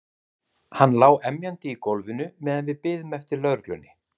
Hann lá emjandi í gólfinu meðan við biðum eftir lögreglunni.